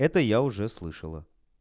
это я уже слышала